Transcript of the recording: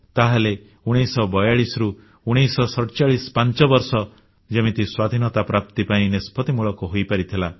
ତାହେଲେ 1942ରୁ 1947 ପାଞ୍ଚବର୍ଷ ଯେମିତି ସ୍ୱାଧୀନତା ପ୍ରାପ୍ତି ପାଇଁ ନିଷ୍ପତ୍ତିମୂଳକ ହୋଇପାରିଥିଲା